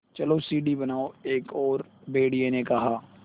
चलो सीढ़ी बनाओ एक और भेड़िए ने कहा